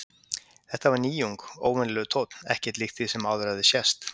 Þetta var nýjung, óvenjulegur tónn, ekkert líkt því sem áður hafði sést.